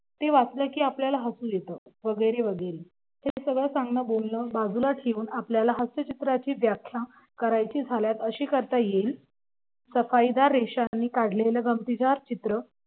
ते वाचलं की आपल्याला हसू येत वगैरे वगैरे ते सगळं सांगणं बोलणं बाजूला ठेवून आपल्याला हास्य चित्राची व्याख्या करायची झाल्यास अशी करता येईल रेशाने काढलेलं गमतीदार चित्र